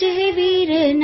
રેનાડું પ્રાંતના સૂરજ